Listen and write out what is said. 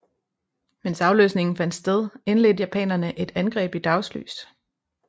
Mens afløsningen fandt sted indledte japanerne et angreb i dagslys